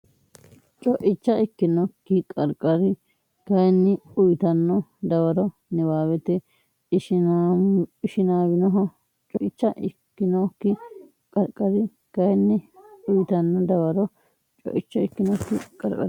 Co icha ikkinokki qarqari kayinni uytanno dawaro niwaawete Ishinaawinoho Co icha ikkinokki qarqari kayinni uytanno dawaro Co icha ikkinokki qarqari.